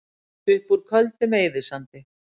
Upp úr Köldum eyðisandi